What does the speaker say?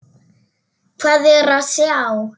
Hvað er að sjá